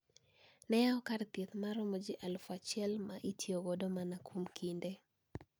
Ne yawo kar thieth maromo ji aluf achiel ma itiyogo mana kuom kinde